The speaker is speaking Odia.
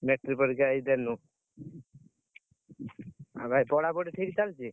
Metric ପରୀକ୍ଷା ଏଇ ଦେଲୁ। ଆଉ ଭାଇ ପଢାପଢି ଠିକ୍ ଚାଲଚି?